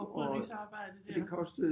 Oprydningsarbejdet dér